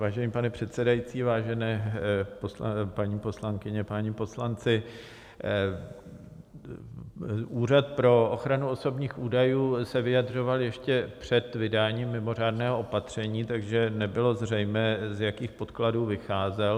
Vážený pane předsedající, vážené paní poslankyně, páni poslanci, Úřad pro ochranu osobních údajů se vyjadřoval ještě před vydáním mimořádného opatření, takže nebylo zřejmé, z jakých podkladů vycházel.